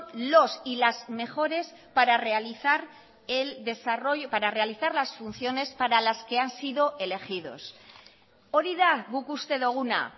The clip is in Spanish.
los y las mejores para realizar las funciones para las que han sido elegidos hori da guk uste doguna